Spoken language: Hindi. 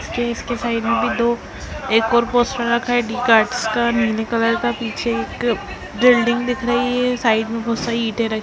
इसके साइड मे भी दो एक और पोस्टर रखा है डी कार्ड्स नीली कलर का पीछे एक बिल्डिंग दिख रही है साइड में बहुत सारे ईटे --